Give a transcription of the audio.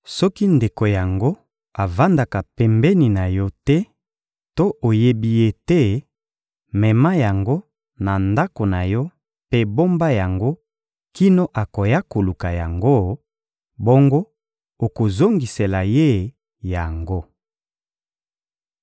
Soki ndeko yango avandaka pembeni na yo te to oyebi ye te, mema yango na ndako na yo mpe bomba yango kino akoya koluka yango, bongo okozongisela ye yango.